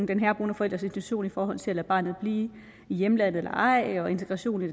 den herboende forældres intention i forhold til at lade barnet blive i hjemlandet eller ej og integrationen